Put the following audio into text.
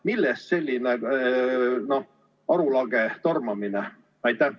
Millest selline arulage tormamine?